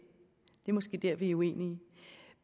er måske dér vi er uenige